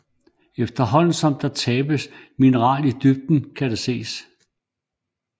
Efterhånden som der tabes mineral i dybden kan det ses